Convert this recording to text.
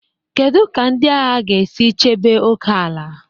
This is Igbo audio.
Kedu ka ndị agha ga-esi chebe oke ala?